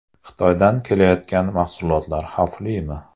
Xitoydan kelayotgan mahsulotlar xavflimi?